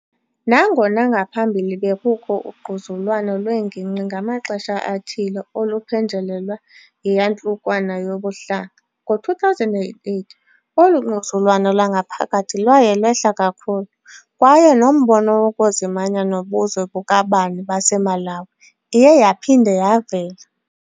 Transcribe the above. Nangona ngaphambili bekukho ungquzulwano lwengingqi ngamaxesha athile oluphenjelelwa yiyantlukwano yobuhlanga, ngo-2008 olu ngquzulwano lwangaphakathi lwaye lwehla kakhulu, kwaye nombono wokuzimanya nobuzwe bukabani baseMalawi iye yaphinda yavela.